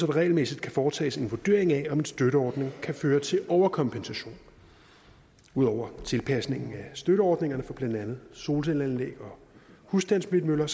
regelmæssigt kan foretages en vurdering af om en støtteordning kan føre til overkompensation ud over tilpasningen af støtteordningerne for blandt andet solcelleanlæg og husstandsvindmøller